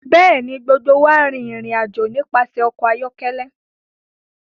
Bẹẹni, gbogbo wa rin irin-ajo nipasẹ ọkọ ayọkẹlẹ